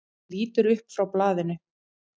Hann lítur upp frá blaðinu.